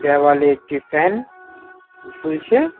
দেওয়ালে একটি ফ্যান ঝুলছে।